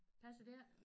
Passer det ikke